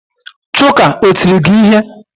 Chuka o tiri gi ihe?